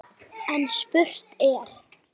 Þar er allt að gerast.